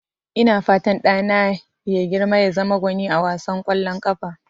Ina fatan ɗana ya girma ya zama gwani a wasan ƙwallon ƙafa.